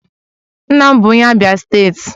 Nna m bụ onye Abia steeti